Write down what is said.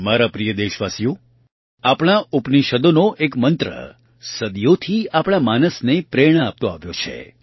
મારા પ્રિય દેશવાસીઓ આપણા ઉપનિષદોનો એક મંત્ર સદીઓથી આપણા માનસને પ્રેરણા આપતો આવ્યો છે